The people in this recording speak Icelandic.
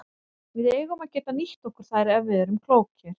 Við eigum að geta nýtt okkur þær ef við erum klókir.